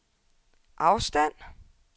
afstand